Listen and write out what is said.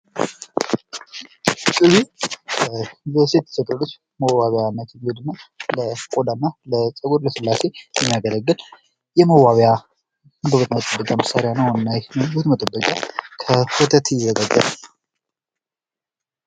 እነዚህ ሰዎች መልካቸውን ለማሳመር ወይም የተፈጥሮ ውበታቸውን ለማጉላት የሚጠቀሙባቸው እንደ ቅባት፣ ዱቄት፣ ሊፕስቲክ ያሉ የተለያዩ ምርቶች ናቸው። ቆዳን ለመንከባከብና ውበትን ለመጠበቅ ያገለግላሉ።